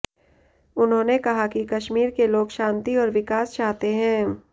उन्होंने कहा कि कश्मीर के लोग शांति और विकास चाहते हैं